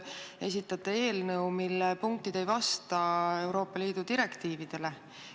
Te esitate eelnõu, mille punktid ei vasta Euroopa Liidu direktiividele.